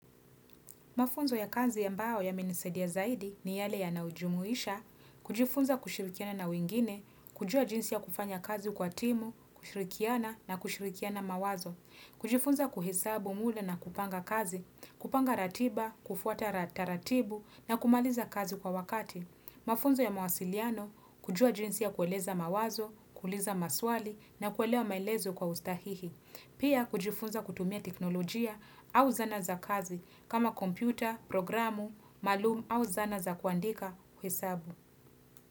Mafunzo ya kazi ambayo yamenisaidia zaidi ni yale yanayojumuisha, kujifunza kushirikiana na wingine, kujua jinsi ya kufanya kazi kwa timu, kushirikiana na kushirikiana mawazo, kujifunza kuhesabu mda na kupanga kazi, kupanga ratiba, kufuata taratibu na kumaliza kazi kwa wakati. Mafunzo ya mawasiliano kujua jinsi ya kueleza mawazo, kuuliza maswali na kuelewa maelezo kwa ustahihi. Pia kujifunza kutumia teknolojia au zana za kazi kama kompyuta, programu, maalumu au zana za kuandika kuhesabu.